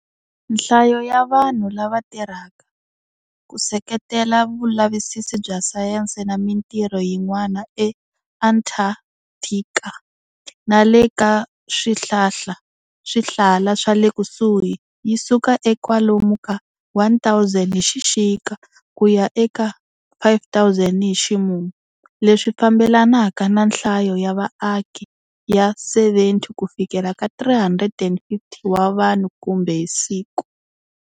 Nhlayo ya vanhu lava tirhaka, ku seketela vulavisisi bya sayense na mintirho yin'wana eAntarctica nale ka swihlala swale kusuhi yisuka eka kwalomu ka 1,000 hi xixika kuya eka 5,000 hi ximumu, leswi fambelanaka na nhlayo ya vaaki ya 70-350 wa vanhu kumbe hi siku.